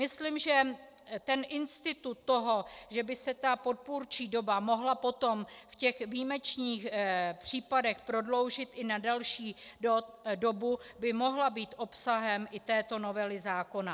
Myslím, že ten institut toho, že by se ta podpůrčí doba mohla potom v těch výjimečných případech prodloužit i na delší dobu, by mohl být obsahem i této novely zákona.